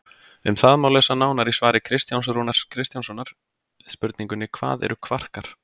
Um það má lesa nánar í svari Kristjáns Rúnars Kristjánssonar við spurningunni Hvað eru kvarkar?